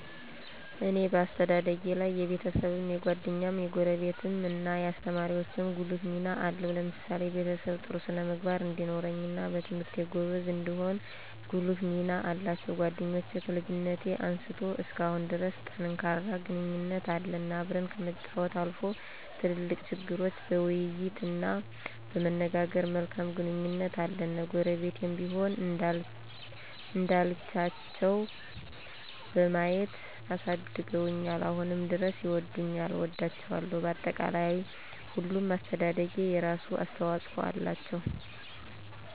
እኔ በአስተዳደጊ ላይ የቤሰብም፣ የጓደኛም፣ የጎረቤትም እናየአሰተማሪወቸ ጉልህ ሚና አለው። ለምሳሌ በቤሰብ ጥሩ ስነ-ምግባር እንዲኖረኝና በትምህርቴ ጎበዝ እንድሆን ጉልህ ሚና አላቸው። ጓደኞቸ ከልጅነት አንስቶ እስካሁን ድረስ ጠንካራ ግንኙነት አለን። አብረን ከመጫወች አልፎ ትልልቅ ችግሮች በይይት እና በመነጋገር መልካም ግንኙነት አለኝ። ጎረቤትም ቢሆን እንደልቻቸው በማየት አሳድገውኛል አሁንም ድረስ ይወዱኛል እወዳቸዋለሁ። በአጠቃላይ ሁሉም ለአሰተደደጊ የራሱ አሰተዋፅኦ አላቸው።